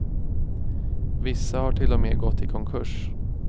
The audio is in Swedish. Vissa har till och med gått i konkurs.